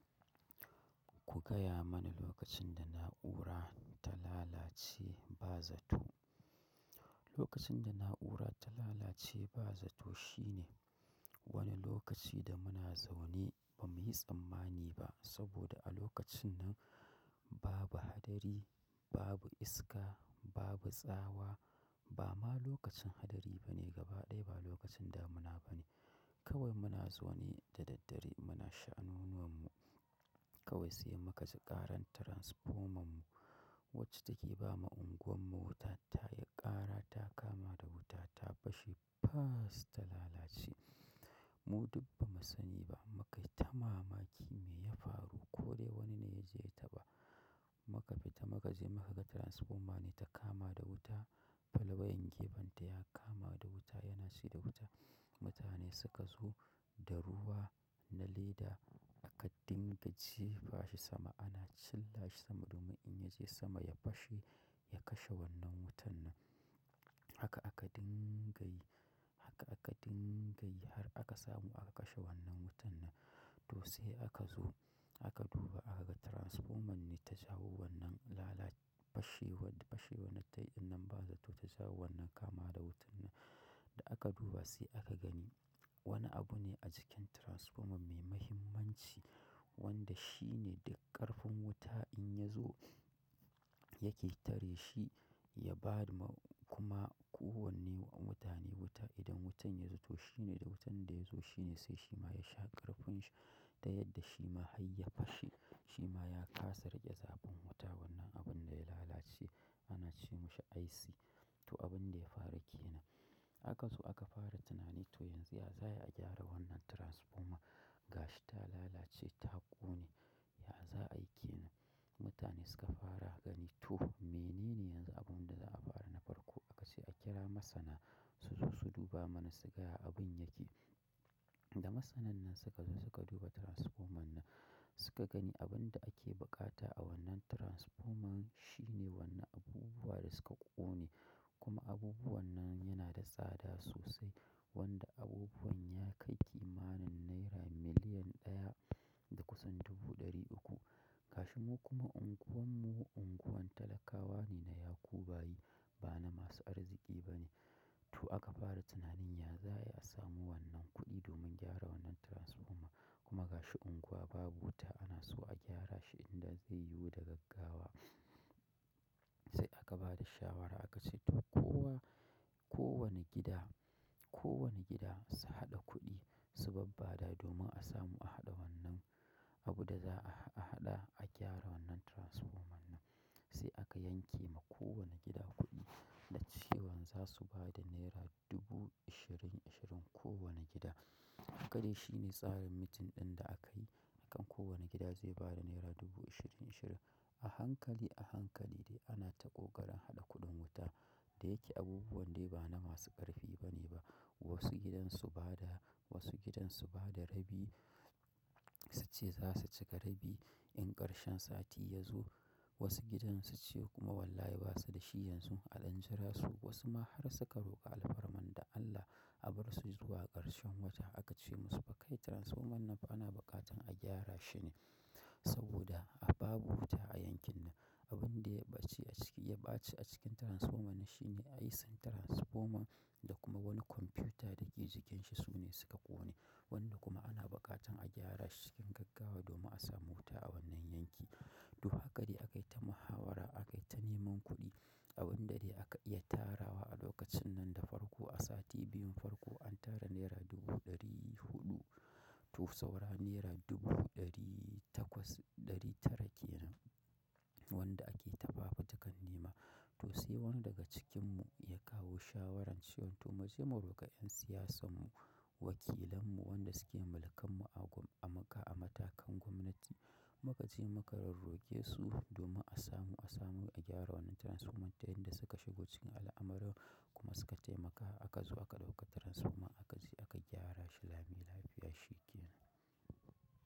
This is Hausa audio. Ku gaya mani lokacin da na'ura ta lalace ba zato. Lokacin da na'ura ta lalace ba zato shine wani lokaci da muna zaune ba muyi tsammani ba saboda a lokacin nan babu hadari, babu iska, babu tsawa, ba ma lokacin hadari ba ne gabaɗaya ba lokacin damuna ba ne. Kawai muna zaune da daddare muna sha'anunuwan mu. Kawai sai muka ji karar transformer mu wacce take bama unguwar mu wuta tayi ƙara ta kama da wuta ta fashe faas ta lalace. Mu duk ba mu sani ba muka yi ta mamaki me ya faru ko dai wani ne ya je ya taɓa. Muka fita muka je muka ga transfoma ne ta kama da wuta. Falwayan gefen ta ya kama da wuta yana cida wuta. Kawai sai mukaji ƙarara transformer mu wcce take bama unguwarmu wuta tayi ƙara ta kama da wuta ta ashe faas ta lalace. Haka aka dinga yi, haka aka dinga yi har aka samu aka kashe wannan wutan nan. To sai akazo aka duba akaga transformer ne ta jawo wannan lalace fashewar da tai ɗinnan ba zato ta jawo wannan kamawa da wuta ɗinnan. Da aka duba sai aka gani wani abu ne a jikin transfoman mai muhimmanci wanda shine duk ƙarfin wuta in ya zo yake tare shi ya bama kuma kowane mutane wuta idan wutan ya zo to shine da wutan da ya zo shine sai shi ma ya sha ƙarfin shi da yadda shi ma har ya fashe shi ma ya kasa riƙe zabin wuta wannan abun da ya lalace ana ce mishi IC. To abin da ya faru ke nan. Aka zo aka fara tunani to yanzu ya za ayi a gyara wannan transfoma? Ga shi ta lalace ta ƙone. Ya za a yi ke nan? Mutane suka fara gani to menene yanzu abun da za a fara na farko? A ka ce a kira masana su zo su duba mana su gaya abin yake. Da masanan nan suka zo suka duba transfoman nan suka gani abun da ake bukata a wannan transfoman shine wannan abubuwa da suka ƙone kuma abubuwan nan yana da tsada sosai wanda abubuwan ya kai kimanin naira miliyan ɗaya da kusan dubu ɗari uku. Gashi mu kuma unguwan mu unguwan talakawa ne na yakubayi ba na masu arziki ba ne. To aka fara tunanin ya za a samu wannan kuɗi domin gyara wannan transfoma kuma ga shi unguwa babu wuta ana so a gyara shi idan zai yiwu da gaggawa. Sai aka ba da shawara aka ce to kowa, kowane gida, kowane gida su haɗa kuɗi su babbaɗa domin a samu a haɗa wannan abin da za a haɗa a gyara wannan transfoman nan. Sai aka ya kema kowanne gida kuɗi da cewan zasu bada naira dubu ishirin-ishirin kowanne gida haka dai shine tsarin meeting din da akayi da akan kowanne gida ze bada naira dubu ishirin-ishirin. A hankali a hankali de ana ta ƙoƙarin haɗa kuɗin wuta. Da yake abubuwan dai ba na masu ƙarfi ba ne ba. Wasu gidan su ba da, wasu gidan su ba da rabi. Su ce za su cika rabi in ƙarshen sati ya zo. Wasu gidan su ce kuma wallahi ba su da shi yanzu a ɗan jira su. Wasu ma har suka roƙa alfarma da Allah a bar su zuwa ƙarshen wata. A ka ce musu fa kai transfoman nan ana buƙatan a gyara shi ne saboda a babu wuta a yankin nan. Abin da ya ɓace a ciki, ya ɓace a cikin transfoman nan shine IC transfoman da kuma wani kwamfiyuta da ke jikin shi su ne suka ƙone wanda kuma ana buƙatan a gyara shi cikin gaggawa domin a samu wuta a wannan yanki. To haka ne aka yi ta muhawara aka yi ta neman kuɗi abin da dai aka iya tarawa a lokacin nan da farko a sati biyun farko an tara naira dubu ɗari huɗu. To saura naira dubu ɗari takwas ɗari tara ke nan wanda ake ta fafutukan nema. To sai wani daga cikinmu ya kawo shawaran cewa to mu je mu roƙa ƴan siyasan mu, wakilan mu, wanɗa suke mulkan mu a gwam-- a maka-- a matakan gwamnati. Mu ka je muka rorroke su domin a samu a samu a gyara wannan transfoman ta yan da suka shigo cikin al'amarin kuma suka taimaka. Aka zo aka ɗauka transfoma aka je aka gyara shi lami lafiya shi ke nan.